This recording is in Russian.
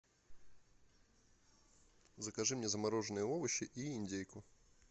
закажи мне замороженные овощи и индейку